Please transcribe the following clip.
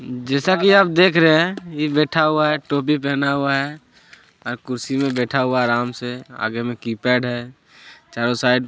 जैसा कि आप देख रहे हैं ये बैठा हुआ है टोपी पहना हुआ है और कुर्सी में बैठा हुआ है आराम से आगे में कीपैड है चारो साइड --